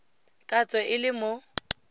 ka tswe e le mo